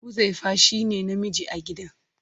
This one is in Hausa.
Huzaifa shine namiji a gidan.